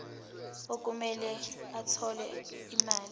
okumele athole imali